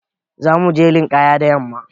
Za mu je linƙaya da yamma.